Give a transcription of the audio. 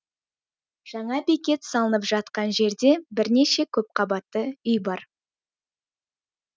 жаңа бекет салынып жатқан жерде бірнеше көпқабатты үй бар